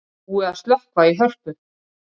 Búið að slökkva í Hörpu